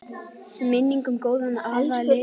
Minning um góðan afa lifir.